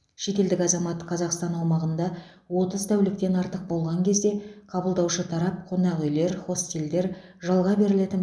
шетелдік азамат қазақстан аумағында отыз тәуліктен артық болған кезде қабылдаушы тарап қонақ үйлер хостелдер жалға берілетін